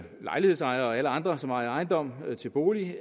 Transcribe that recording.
lejlighedsejere og alle andre som ejer ejendomme til bolig